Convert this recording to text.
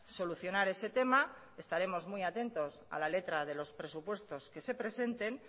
solucionar ese tema estaremos muy atentos a la letra de los presupuestos que se presenten